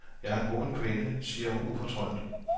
Jeg er en moderne kvinde, siger hun ufortrødent.